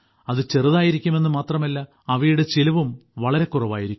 അത് ചെറുതായിരിക്കുമെന്ന് മാത്രമല്ല അവയുടെ ചിലവും വളരെ കുറവായിരിക്കും